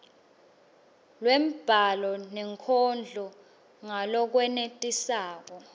lwembhalo nenkondlo ngalokwenetisako